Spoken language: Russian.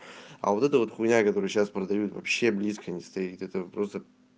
а вот это вот хуйня которые сейчас продают вообще близко не стоит где то просто